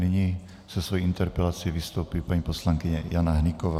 Nyní se svou interpelací vystoupí paní poslankyně Jana Hnyková.